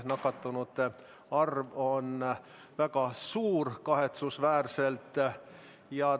Nakatunute arv on meil kahetsusväärselt väga suur.